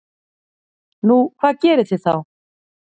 Nú, hvað gerið þið þá?